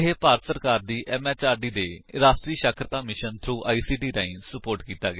ਇਹ ਭਾਰਤ ਸਰਕਾਰ ਦੀ ਐਮਐਚਆਰਡੀ ਦੇ ਰਾਸ਼ਟਰੀ ਸਾਖਰਤਾ ਮਿਸ਼ਨ ਥ੍ਰੋ ਆਈਸੀਟੀ ਰਾਹੀਂ ਸੁਪੋਰਟ ਕੀਤਾ ਗਿਆ ਹੈ